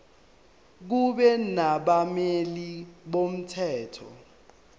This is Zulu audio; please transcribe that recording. kube nabameli bomthetho